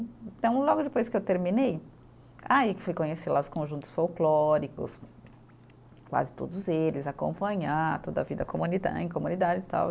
Então, logo depois que eu terminei, aí que fui conhecer lá os conjuntos folclóricos, quase todos eles, acompanhar toda a vida comunida, em comunidade e tal.